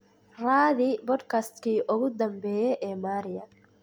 raadi podcast-kii ugu dambeeyay ee Maria